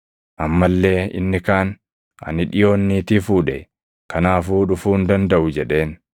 “Amma illee inni kaan, ‘Ani dhiʼoon niitii fuudhe; kanaafuu dhufuu hin dandaʼu’ jedheen.